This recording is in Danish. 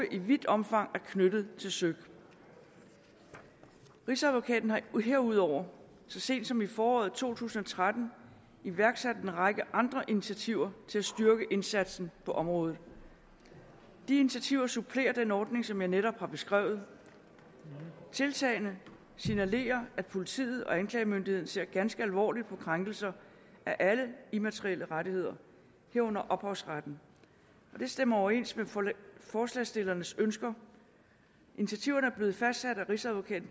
i vidt omfang er knyttet til søik rigsadvokaten har herudover så sent som i foråret to tusind og tretten iværksat en række andre initiativer til at styrke indsatsen på området de initiativer supplerer den ordning som jeg netop har beskrevet tiltagene signalerer at politiet og anklagemyndigheden ser ganske alvorligt på krænkelser af alle immaterielle rettigheder herunder ophavsretten og det stemmer overens med forslagsstillernes ønsker initiativerne er blevet fastsat af rigsadvokaten